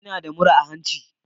Ina da murra a hanci.